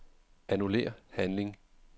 Annullér handling.